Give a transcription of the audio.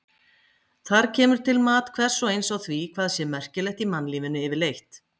Þar kemur til mat hvers og eins á því hvað sé merkilegt í mannlífinu yfirleitt.